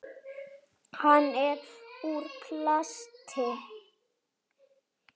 Hann er úr plasti.